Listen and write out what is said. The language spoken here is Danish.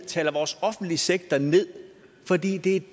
taler vores offentlige sektor ned fordi det er